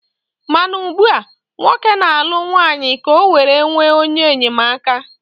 Mana ugbua, nwoke na-alụ nwanyị ka ọ were nwee onye enyemaka.